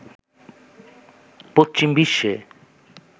পশ্চিম বিশ্বে